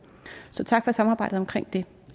så tak for samarbejdet omkring det